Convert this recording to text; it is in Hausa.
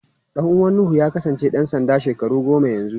Ɗan uwan Nuhu ya kasance ɗan sanda shekaru goma yanzu.